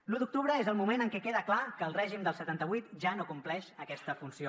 l’u d’octubre és el moment en què queda clar que el règim del setanta vuit ja no compleix aquesta funció